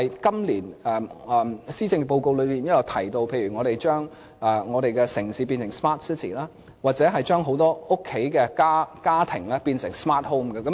今年的施政報告提到要將我們的城市變成 smart city， 將很多家居變成 smart homes。